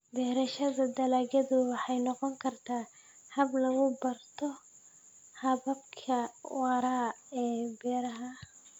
Beerashada dalagyadu waxay noqon kartaa hab lagu barto hababka waara ee beeraha.